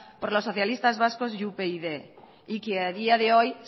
por los socialistas vascos y upyd y que a día de hoy